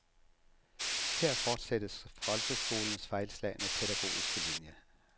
Her fortsættes folkeskolens fejlslagne pædagogiske linie.